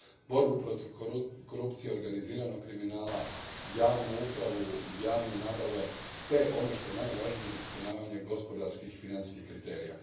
borbi protiv korupcije, organiziranog kriminala, javnoj nabavi te, ono što je najvažnije, ispunjavanju gospodarskih i financijskih kriterija.